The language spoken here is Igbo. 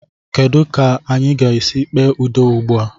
Kedụ ka anyị ga-esi kpee udo ugbu a?